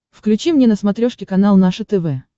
включи мне на смотрешке канал наше тв